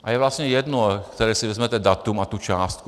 A je vlastně jedno, které si vezmete datum a tu částku.